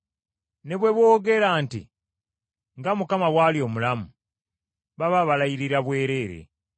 Ne bwe boogera nti, ‘Nga Mukama bwali omulamu;’ baba balayirira bwereere.”